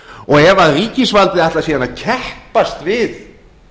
og ef ríkisvaldið ætlar sér að keppast við